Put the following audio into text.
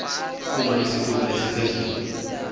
uma isikhulu esiphezulu